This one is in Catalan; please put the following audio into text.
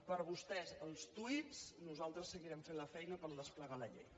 per a vostès els tuits nosaltres seguirem fent la feina per desplegar la llei